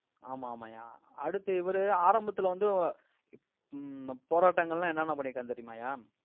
ஆமா, ஆமாய்யா. அடுத்து இவரு ஆரம்பத்துல வந்து ஹம் போராட்டங்கள் எல்லாம் என்னென்ன பண்ணிருக்காங்க தெரியுமாய்யா?